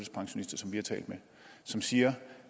vi har talt med som siger